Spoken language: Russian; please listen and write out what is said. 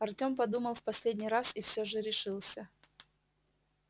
артём подумал в последний раз и всё же решился